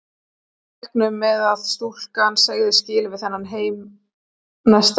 Allir reiknuðu með að stúlkan segði skilið við þennan heim næsta augnablik.